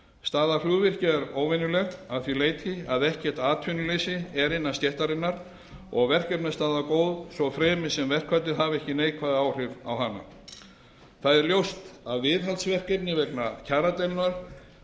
staða flugvirkja er óvenjuleg að því leyti að ekkert atvinnuleysi er innan stéttarinnar og verkefnastaða góð svo fremi sem verkfallið hafi ekki neikvæð áhrif á hana það er ljóst að viðhaldsverkefni vegna